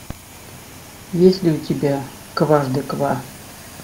есть ли у тебя кважды ква